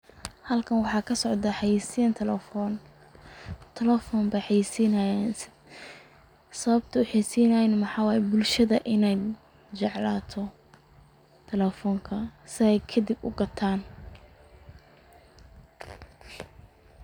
Halkan waxaa kasocda xayiisin talefon, talefon bay xayiisinayan, sababtay u xayiisinayan na maxa waye in bulshada jeclaato takefonka si ay kadib ugataan